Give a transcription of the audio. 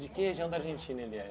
De que região da Argentina ele é?